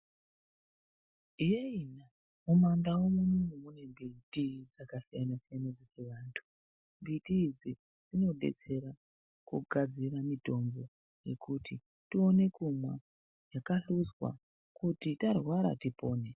Yee mumandau mune mbiti yakasiyana-siyana, mbiti idzi dzinodetsera kugadzire mitombo yekuti tione kumwa, yakahluzwa kuti tarwara tipone.